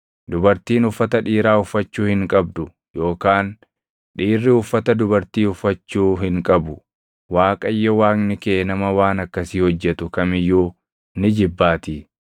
Dubartiin uffata dhiiraa uffachuu hin qabdu yookaan dhiirri uffata dubartii uffachuu hin qabu; Waaqayyo Waaqni kee nama waan akkasii hojjetu kam iyyuu ni jibbaatii.